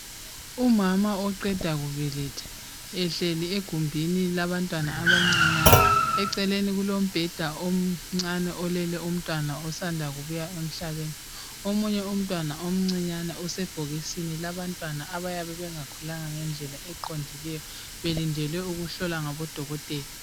Umama oqeda kubeletha ehleli egumbini labantwana abancinyane, eceleni kulombheda omncane olele umntwana osanda kubuya emhlabeni .Omunye umntwana omuncinyane usebhokisini labantwana abayabe bengakhulanga ngendlela eqondileyo belindele ukuhlolwa ngaboDokotela.